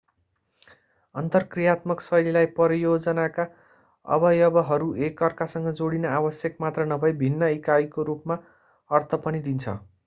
अन्तरक्रियात्मक शैलीलाई परियोजनाका अवयवहरू एकअर्कासँग जोडिन आवश्यक मात्र नभई भिन्न इकाइको रूपमा अर्थ पनि दिन्छ